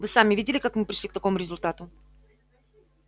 вы сами видели как мы пришли к такому результату